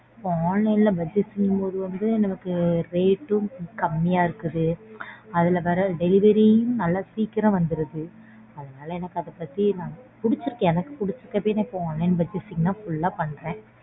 இப்போ online purchasing ங்குபோது நமக்கு rate ம் கம்மியா இருக்குது அதுல வர delivery யும் நல்லா சீக்கிரம் வந்துடுது அதுனால எனக்கு அதபத்தி நான் புடிச்சுருக்கு எனக்கு புடிச்சுருக்க போயி நான் online purchasing தான். நான் full ஆ பண்றேன்.